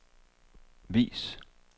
vis